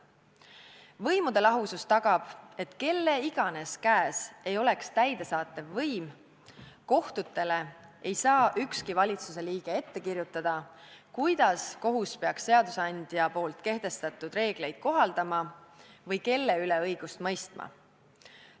Võimude lahusus tagab, et olgu täidesaatev võim kelle tahes käes, kohtutele ei saa ükski valitsusliige ette kirjutada, kuidas kohus peaks seadusandja kehtestatud reegleid kohaldama või kelle üle õigust mõistma.